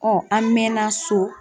an mɛnna so.